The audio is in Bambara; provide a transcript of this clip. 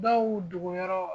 Dɔw dogo yɔrɔ